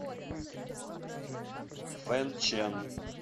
фэнчэн